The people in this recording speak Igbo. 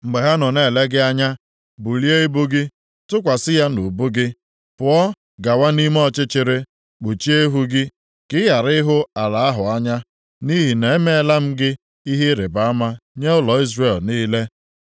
Mgbe ha nọ na-ele gị anya, bulie ibu gị, tụkwasị ya nʼubu gị, pụọ gawa nʼime ọchịchịrị, kpuchie ihu gị, ka ị ghara ihu ala ahụ anya. Nʼihi na emela m gị ihe ịrịbama nye ụlọ Izrel niile.”